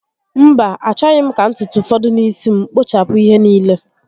Mba, achọghị m ka ntutu fọdụ n'isi m. Kpụchapụ ihe niile